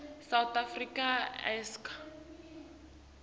south africa icasa